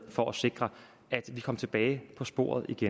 for at sikre at vi kom tilbage på sporet